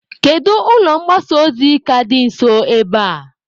Kedu ụlọ mgbasa ozi ka dị nso ebe a?